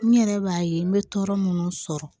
N yɛrɛ b'a ye n bɛ tɔɔrɔ minnu sɔrɔ